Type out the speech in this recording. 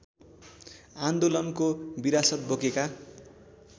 आन्दोलनको विरासत बोकेका